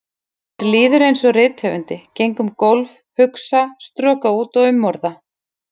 Mér líður einsog rithöfundi, geng um gólf, hugsa, stroka út og umorða.